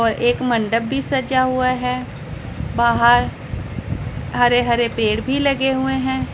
और एक मंडप भी सजा हुआ है बाहर हरे हरे पेड़ भी लगे हुए हैं।